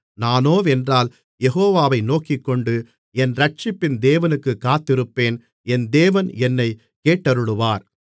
நானோவென்றால் யெகோவாவை நோக்கிக்கொண்டு என் இரட்சிப்பின் தேவனுக்குக் காத்திருப்பேன் என் தேவன் என்னைக் கேட்டருளுவார்